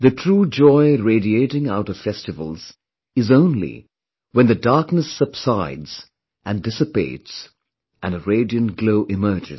The true joy radiating out of festivals is only when the darkness subsides and dissipates and a radiant glow emerges